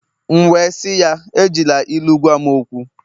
M'we si ya, Ejila ilu gwam okwu